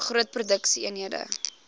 groot produksie eenhede